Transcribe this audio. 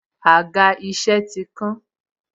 Àga isẹ ti kán.